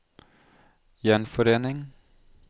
gjenforening